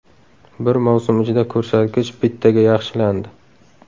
Bir mavsum ichida ko‘rsatkich bittaga yaxshilandi.